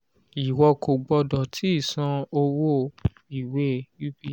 ìwọ kò gbọdọ̀ tíì san owó ìwé ups